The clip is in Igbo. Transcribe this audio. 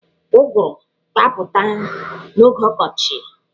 Ụgụrụ ga-apụta n'oge ọkọchi.